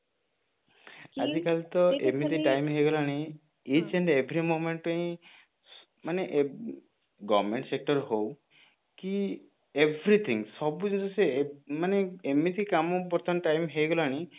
ଆଜିକାଲି ତ ଏମିତି time ହେଇଗଲାଣି each and every moment ରେ ହିଁ ମାନେ government sector ହଉ କି everything ସବୁ ଜିନିଷ ମାନେ ଏମିତି କାମ ମାନେ ବର୍ତ୍ତମାନ time ହେଇଗଲାଣି